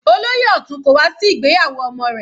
Olóyè Otun kò wá sí ìgbéyàwó ọmọ rẹ̀.